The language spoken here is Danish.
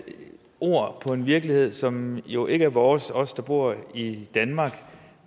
ord på en virkelighed som jo ikke er vores os som bor i danmark